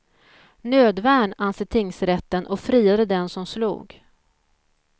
Nödvärn, anser tingsrätten och friade den som slog.